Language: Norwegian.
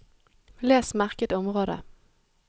Les merket område